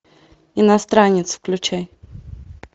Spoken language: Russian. иностранец включай